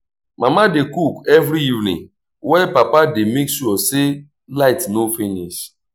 mama dey cook every evening while papa dey make sure say light no finish.